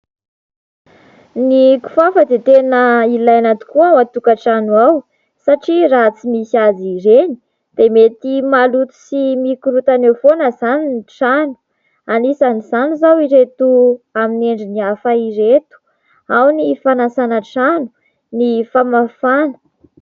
Ny kifafa dia tena ilaina tokoa ao an-tokatrano ao satria raha tsy misy azy ireny dia mety maloto sy mikorontana eo foana izany ny trano, anisan'izany izao ireto amin'ny endriny hafa ireto : ao ny fanasana trano, ny famafana.